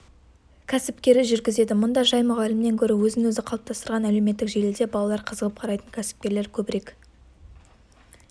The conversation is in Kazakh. кәсіпкері жүргізеді мұнда жай мұғалімнен гөрі өзін-өзі қалыптастырған әлеуметтік желіде балалар қызығып қарайтын кәсіпкерлер көбірек